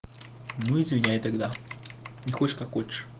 ну извиняй тогда не хочешь как хочешь